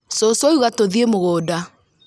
Cũcũ auga tũthiĩ mũgũnda